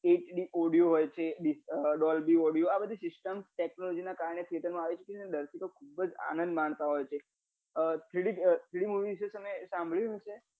hd audio હોય છે dollby audio હોય છે આ બધી system technology ના કારણે theater મા આવે છે અને દર્શકો ખુબજ આનદ માલતા હોય છે અ three d three d movie વિષે તમે સાંભળ્યું હશે